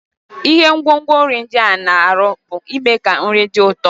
Ihe ngwongwo nri ndị a na-arụ bụ ịme ka nri dị ụtọ.